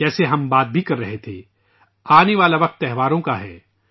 جیسا کہ ہم بات بھی کر رہے تھے ، آنے والا وقت تہواروں کا ہے